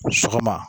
Sɔgɔma